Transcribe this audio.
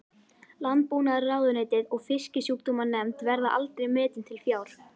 Landbúnaðarráðuneytið og Fisksjúkdómanefnd, verða aldrei metin til fjár.